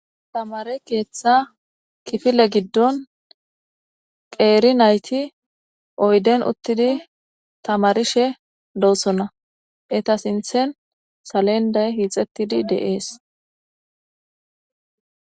Thamare keeththa kifile giddon qeeri naythi oyden uththidi thamarishe doosonna; etha sinththen salenday hiixeththidi de7ees.